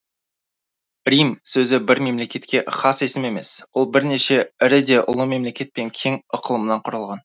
рим сөзі бір мемлекетке хас есім емес ол бірнеше ірі де ұлы мемлекет пен кең ықылымнан құралған